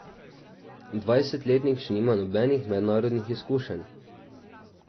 Dvajsetletnik nima še nobenih mednarodnih izkušenj.